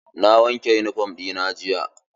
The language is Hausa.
Na wanke yunifom ɗina jiya.